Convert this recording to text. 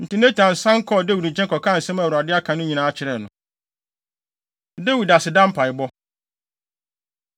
Enti Natan san kɔɔ Dawid nkyɛn kɔkaa nsɛm a Awurade aka no nyinaa kyerɛɛ no. Dawid Aseda Mpaebɔ